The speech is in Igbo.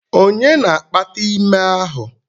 Onye na-akpata ime ahụ?